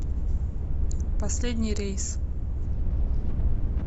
последний рейс